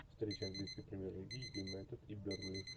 встреча английской премьер лиги юнайтед и бернли